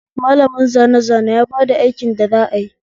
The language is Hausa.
malamin zane zane ya bada aiki da za ayi